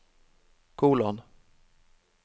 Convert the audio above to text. kolon